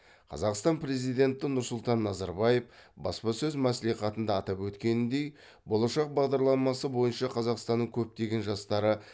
қазақстан президенті нұрсұлтан назарбаев баспасөз мәслихатында атап өткеніндей болашақ бағдарламасы бойынша қазақстанның көптеген жастары